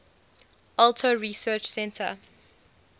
alto research center